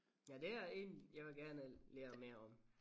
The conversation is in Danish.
Ja det er en jeg vil gerne lære mere om